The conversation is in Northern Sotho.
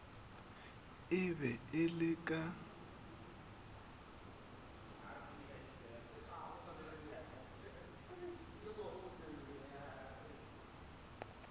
e be e le ka